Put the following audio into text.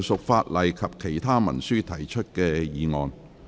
議員就附屬法例及其他文書提出的議案。